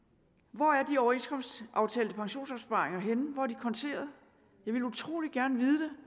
hvor er de overenskomstaftalte pensionsopsparinger henne hvor er de konteret jeg ville utrolig gerne vide